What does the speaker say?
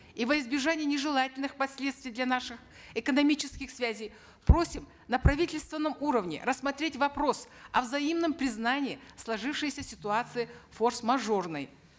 и во избежание нежелательных последствий для наших экономических связей просим на правительственном уровне рассмотреть вопрос о взаимном признании сложившейся ситуации форс мажорной